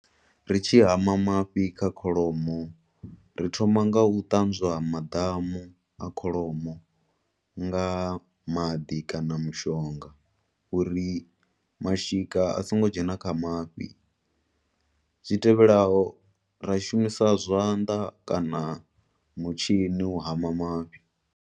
Ri tshi hama mafhi kha kholomo, ri thoma ngau ṱanzwa maḓamu a kholomo nga maḓi kana mushonga, uri mashika a songo dzhena kha mafhi. Zwitevhelaho, ra shumisa zwanḓa kana mutshini u hama mafhi.